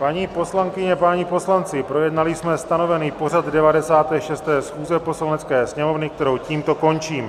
Paní poslankyně, páni poslanci, projednali jsme stanovený pořad 96. schůze Poslanecké sněmovny, kterou tímto končím.